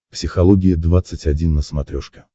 психология двадцать один на смотрешке